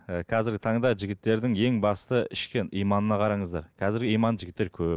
і қазіргі таңда жігіттердің ең басты ішкі иманына қараңыздар қазір иманды жігіттер көп